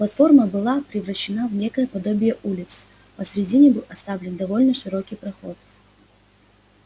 платформа была превращена в некое подобие улицы посередине был оставлен довольно широкий проход